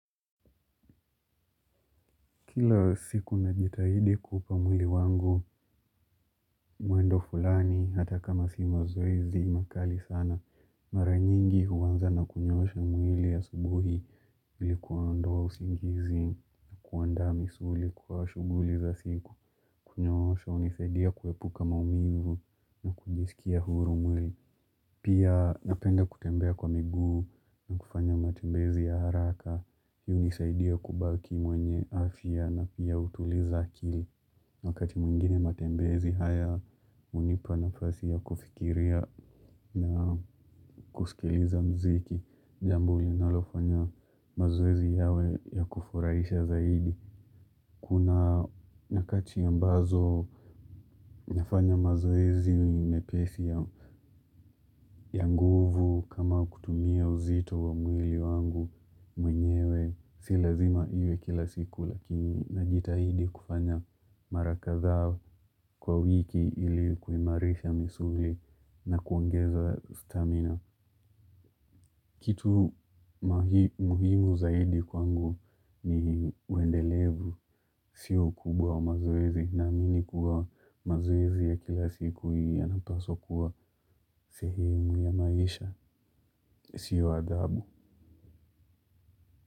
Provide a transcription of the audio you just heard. Kila siku najitahidi kuupa mwili wangu, muendo fulani hata kama si mazoezi makali sana. Mara nyingi huanza na kunyoosha mwili asubuhi ili kuondoa usingizi na kuandaa misuli kwa shughuli za siku. Kunyoosha hunisaidia kuepuka maumivu na kujisikia huru mwili. Pia napenda kutembea kwa miguu na kufanya matembezi ya haraka. Hunisaidia kubaki mwenye afya na pia hutuliza akili. Wakati mwingine matembezi haya hunipa nafasi ya kufikiria na kusikiliza mziki. Jamb linalofanya mazoezi yawe ya kufuraisha zaidi. Kuna nyakati ambazo nafanya mazoezi mepesi ya nguvu kama kutumia uzito wa mwili wangu mwenyewe. Si lazima iwe kila siku lakini najitahidi kufanya mara kadhaa kwa wiki ili kuimarisha misuli na kuongeza stamina. Kitu muhimu zaidi kwangu ni uendelevu. Sio ukubwa mazoezi naamini kuwa mazoezi ya kila siku yanapaswa kuwa sehemu ya maisha. Sio adhabu.